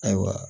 Ayiwa